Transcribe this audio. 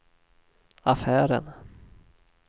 affären